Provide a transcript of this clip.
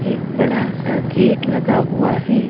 एक बड़ा सा गेट लगा हुआ है।